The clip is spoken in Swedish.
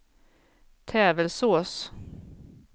Tävelsås